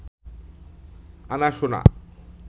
আনা সোনা